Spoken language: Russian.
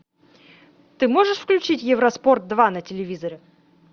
ты можешь включить евроспорт два на телевизоре